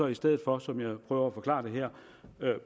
i stedet for som jeg prøver at forklare det her